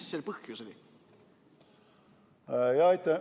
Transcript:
Mis selle põhjus oli?